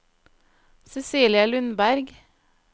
Cecilie Lundberg